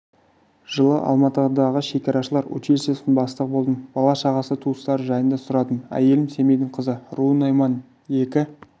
жылы алматыдағы шекарашылар училищесінің бастығы болдым бала-шағасы туыстары жайында сұрадым әйелім семейдің қызы руы найман екі